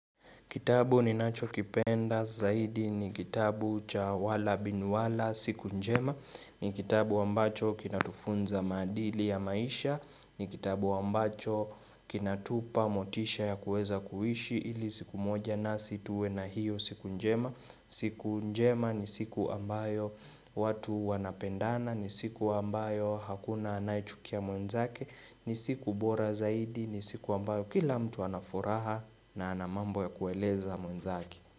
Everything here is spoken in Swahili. Kitabu ninacho kipenda zaidi ni kitabu cha wala binwala siku njema ni kitabu ambacho kinatufunza maadili ya maisha ni kitabu ambacho kinatupa motisha ya kuweza kuishi ili siku moja nasi tuwe na hiyo siku njema siku njema ni siku ambayo watu wanapendana ni siku ambayo hakuna anayechukia mwenzake ni siku bora zaidi, ni siku ambayo kila mtu anafuraha na ana mambo ya kueleza mwenzake.